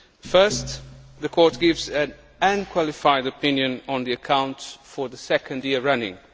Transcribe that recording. First, the Court gives an unqualified opinion on the accounts for the second year running.